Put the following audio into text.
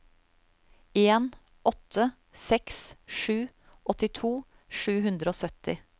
en åtte seks sju åttito sju hundre og sytti